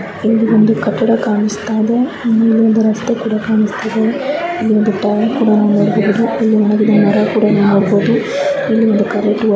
ಇಲ್ಲಿ ಒಂದು ಕಟ್ಟಡ ಕಾಣಿಸ್ತಾಯಿದೆ ಇಲ್ಲಿ ಒಂದು ರಸ್ತೆ ಕೂಡ ಕಾಣಿಸ್ತಾಯಿದೆ ಇಲ್ಲಿ ಒಂದು ಟ್ಯಾಂಕ್ ಕೂಡ ನೋಡಬಹುದು ಇದರ ಒಳಗಡೆ ಮರ ಕೂಡ ನಾವು ನೋಡಬಹುದು ಇಲ್ಲಿ ಹಾಗೆ ಕರೆಂಟ್ --